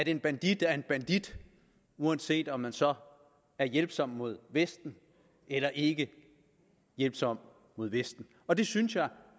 en bandit er en bandit uanset om han så er hjælpsom mod vesten eller ikke hjælpsom mod vesten og det synes jeg